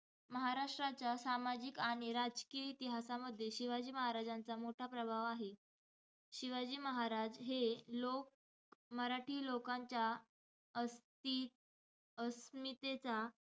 महाराष्ट्राच्या सामाजिक आणि राजकीय इतिहासामध्ये शिवाजी महाराजांचा मोठा प्रभाव आहे. शिवाजी महाराज हे लोक~ मराठी लोकांच्या अस्ति~ अस्मितेचा,